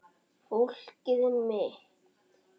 Fólkið mitt.